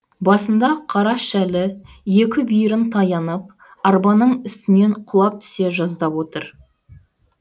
басында қара шәлі екі бүйірін таянып арбаның үстінен құлап түсе жаздап отыр